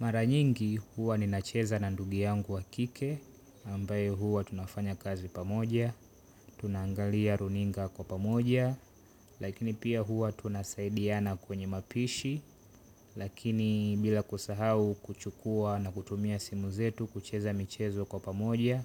Mara nyingi huwa ninacheza na ndugu yangu wa kike, ambae huwa tunafanya kazi pamoja, tunaangalia runinga kwa pamoja, lakini pia huwa tunasaidiana kwenye mapishi, lakini bila kusahau kuchukua na kutumia simu zetu kucheza michezo kwa pamoja,